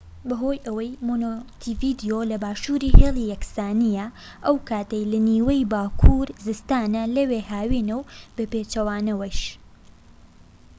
بەهۆی ئەوەی مۆنتیڤیدیۆ لە باشووری هێڵی یەکسانیە ئەو کاتەی لە نیوەی باکوور زستانە لەوێ هاوینە و بەپێچەوانەوەش